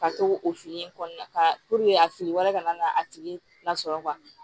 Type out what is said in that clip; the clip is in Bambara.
Ka to o fili in kɔnɔna la ka puruke a fili wɛrɛ kana na a tigi lasɔrɔ